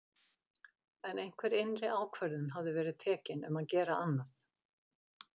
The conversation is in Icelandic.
En einhver innri ákvörðun hafði verið tekin um að gera annað.